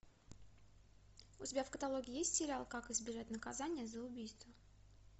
у тебя в каталоге есть сериал как избежать наказания за убийство